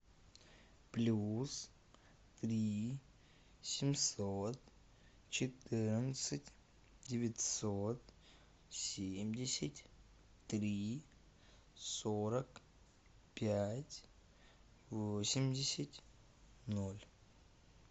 плюс три семьсот четырнадцать девятьсот семьдесят три сорок пять восемьдесят ноль